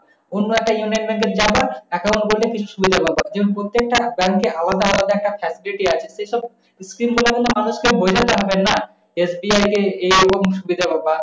অন্য একটা union bank এ গেলে আবার account গুলোতে কিছু সুবিধা পাবা কিন্তু প্রত্যেকটা bank এ আলাদা আলাদা facility যেইসব scheme গুলো আপনার মানুষকে বলে বেড়াবেন না। FDI এ এইরকম সুবিধা পাবা।